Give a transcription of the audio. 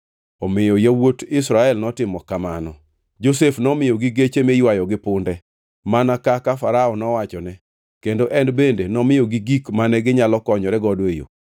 Omiyo yawuot Israel notimo kamano. Josef nomiyogi geche miywayo gi punde, mana kaka Farao nowachone kendo en bende nomiyogi gik mane ginyalo konyore godo e yo.